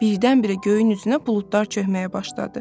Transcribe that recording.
Birdən-birə göyün üzünə buludlar çöhməyə başladı.